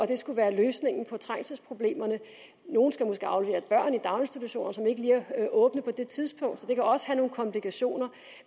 det skulle være løsningen på trængselsproblemerne nogle skal måske aflevere børn i daginstitutionerne som ikke lige er åbne på det tidspunkt så det kan også have nogle komplikationer